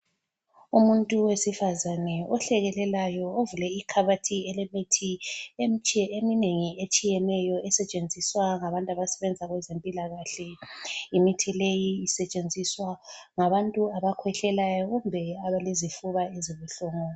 Umuntu owesifazana ohlekelelayo ovule ikhabothi elilemithi, imithi eminengi etshiyeneyo esetshenziswa ngabantu abasebenza kwezempilakahle imithi leyi isetshenziswa ngabantu abakhwehlelayo kumbe abalezifuba ezibuhlungu.